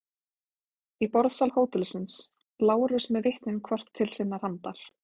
Í borðsal hótelsins: Lárus með vitnin hvort til sinnar handar.